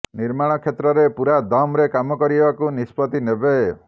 ନିର୍ମାଣ କ୍ଷେତ୍ରରେ ପୂରା ଦମ୍ ରେ କାମ କରିବାକୁ ନିଷ୍ପତ୍ତି ନେବେ